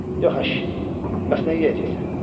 Yox əşi, bəs nə yeyəcəksən?